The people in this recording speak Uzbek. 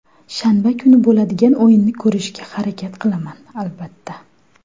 Shanba kuni bo‘ladigan o‘yinni ko‘rishga harakat qilaman, albatta.